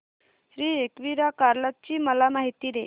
श्री एकविरा कार्ला ची मला माहिती दे